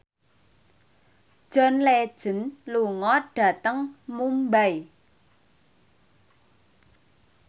John Legend lunga dhateng Mumbai